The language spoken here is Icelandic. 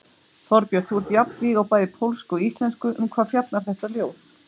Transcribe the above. Þorbjörn: Þú ert jafnvíg á bæði pólsku og íslensku, um hvað fjallar þetta ljóð?